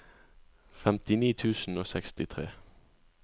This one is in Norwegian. femtini tusen og sekstitre